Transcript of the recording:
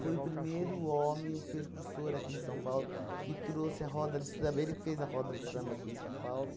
Foi o primeiro homem, o percursor aqui de São Paulo, que trouxe a roda de samba, ele que fez a roda de samba aqui em São Paulo.